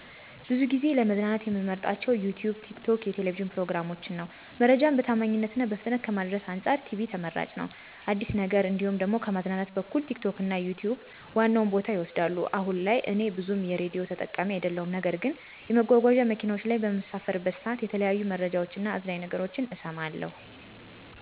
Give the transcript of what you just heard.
ብዙ ጊዜ ለመዝናናት ምመርጣቸው ዩትዩብ፣ ቲክቶክ የቴሌብጂን ፕሮግራሞችን ነው። መረጃን በታማኝነት እና በፍጥነት ከማድረስ አንፃር ቲቪ ተመራጭ ነው። አዲስን ነገር እንዲሁም ደሞ ከማዝናናት በኩል ቲክቶክ እና ዩትዩብ ዋናውን ቦታ ይወስዳሉ። አሁን ላይ እኔ ብዙም የሬዲዮ ተጠቃሚ አደለሁም ነገር ግን የመጓጓዚያ መኪናዎች ላይ በምሳፈር ሠዓት የተለያዩ መረጃዎች እና አዝናኝ ነገሮችን እሠማለሁ።